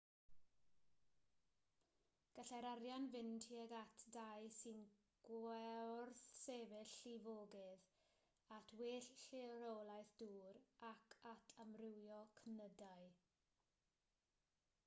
gallai'r arian fynd tuag at dai sy'n gwrthsefyll llifogydd at well rheolaeth dŵr ac at amrywio cnydau